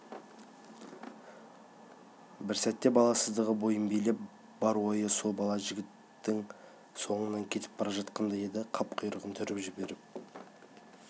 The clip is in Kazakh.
бір сәтке баласыздығы бойын билеп бар ойы сол бала жігіттің соңынан кетіп бара жатқандай еді қап құйрығын түріп жіберіп